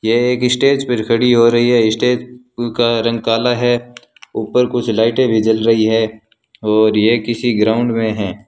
ये एक स्टेज पर खड़ी हो रही है स्टेज का रंग काला है ऊपर कुछ लाइटें भी जल रही है और ये किसी ग्राउंड में हैं।